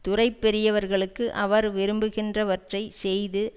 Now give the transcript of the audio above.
துறை பெரியவர்களுக்கு அவர் விரும்புகின்றவற்றைச் செய்து